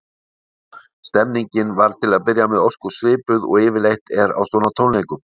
Nú, stemmningin var til að byrja með ósköp svipuð og yfirleitt er á svona tónleikum.